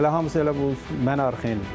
Elə hamısı elə bu mənə arxayindir.